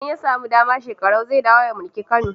Idan ya samu dama, Shekarau zai dawo ya mulki Kano.